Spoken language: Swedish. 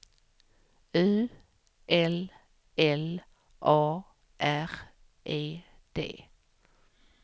U L L A R E D